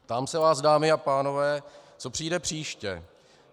Ptám se vás, dámy a pánové, co přijde příště.